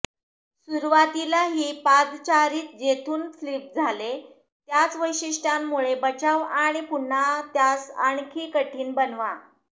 सुरुवातीला ही पादचारी जेथून फ्लिप झाले त्याच वैशिष्ट्यांमुळे बचाव आणि पुन्हा त्यास आणखी कठीण बनवा